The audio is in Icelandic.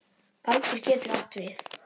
Baldur getur átt við